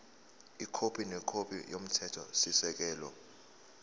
ikhophi nekhophi yomthethosisekelo